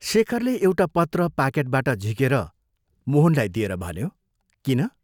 शेखरले एउटा पत्र पाकेटबाट झिकेर मोहनलाई दिएर भन्यो, किन?